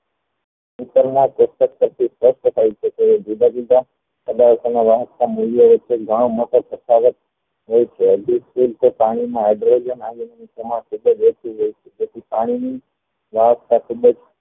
ત્યારે જુધા જુધા પઢાર્થો નો ના વધતા મૂલ્ય વક્તા પાણી માં hydrolium iron ની તેથી પાણી ની